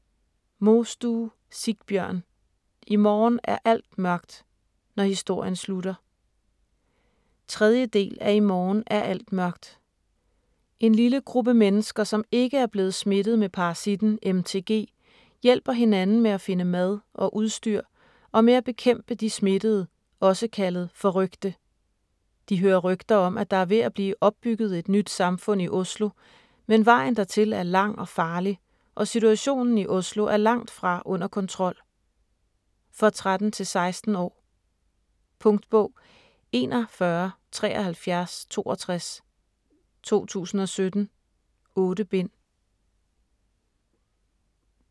Mostue, Sigbjørn: I morgen er alt mørkt - når historien slutter 3. del af I morgen er alt mørkt. En lille gruppe mennesker, som ikke er blevet smittet med parasitten MTG, hjælper hinanden med at finde mad og udstyr og med at bekæmpe de smittede, også kaldet "forrykte". De hører rygter om, at der er ved at blive opbygget et nyt samfund i Oslo, men vejen dertil er lang og farlig, og situationen i Oslo er langt fra under kontrol. For 13-16 år. Punktbog 417362 2017. 8 bind.